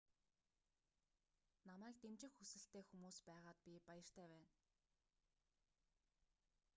намайг дэмжих хүсэлтэй хүмүүс байгаад би баяртай байна